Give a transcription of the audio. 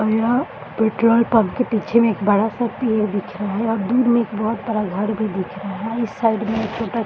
और यहाँ petrol pump के पीछे में एक बड़ा सा पेड़ दिख रहा है और दूर में एक बहुत बड़ा घर भी दिख रहा है और इस साइड में एक छोटा --